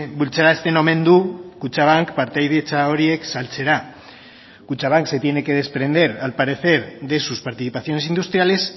bultzarazten omen du kutxabank partaidetza horiek saltzera kutxabank se tiene que desprender al parecer de sus participaciones industriales